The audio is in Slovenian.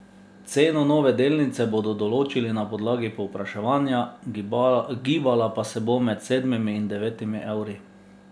Ceno nove delnice bodo določili na podlagi povpraševanja, gibala pa se bo med sedmimi in devetimi evri.